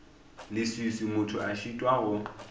leswiswi motho a šitwa go